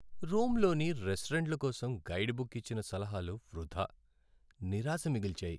రోమ్లోని రెస్టారెంట్ల కోసం guide book ఇచ్చిన సలహాలు వృధా. నిరాశ మిగిల్చాయి.